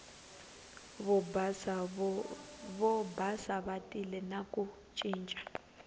vobasa va tile na ku ncinca